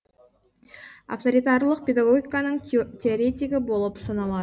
авторитарлық педагогиканың теоретигі болып саналады